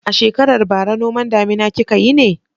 A shekarar bara noman damina kika yi ne?